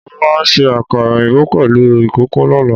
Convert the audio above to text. Mo máa se àkàrà òyìnbó pèlú ìkòkò lọ́lá